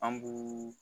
An b'u